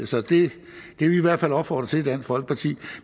så det vil vi i hvert fald opfordre til i dansk folkeparti